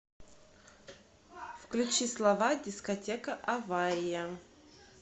включи слова дискотека авария